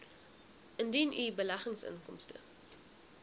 indien u beleggingsinkomste